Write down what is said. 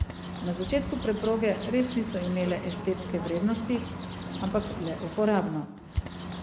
Na začetku preproge res niso imele estetske vrednosti, ampak le uporabno.